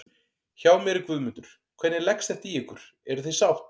Hjá mér er Guðmundur, hvernig leggst þetta í ykkur, eruð þið sátt?